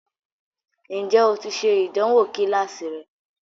Ǹjẹ́ o ti ṣe ìdánwò kíláàsì rẹ?